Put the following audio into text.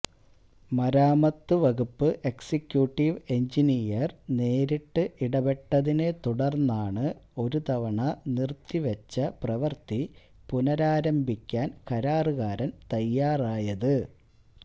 മരാമത്ത് വകുപ്പ് executive engineer നേരിട്ട് ഇടപെട്ടതിനെ തുടര്ന്നാണ് ഒരു തവണ നിര്ത്തി വെച്ച പ്രവര്ത്തി പുനരാരംഭിക്കാന് കരാറുകാരന് തയ്യാറായത്